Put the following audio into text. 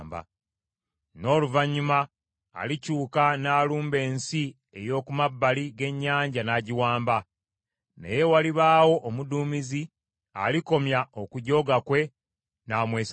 N’oluvannyuma alikyuka n’alumba ensi ey’oku mabbali g’ennyanja n’agiwamba; naye walibaawo omuduumizi alikomya okujooga kwe, n’amwesasuza.